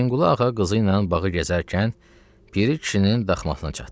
Hüseynqulu ağa qızı ilə bağı gəzərkən, Piri kişinin daxmasına çatdı.